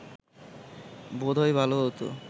বোধ হয় ভালো হতো